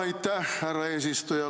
Aitäh, härra eesistuja!